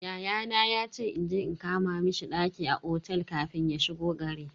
Yayana yace inje in kama mishi ɗaki a otel kafin ya shigo gari.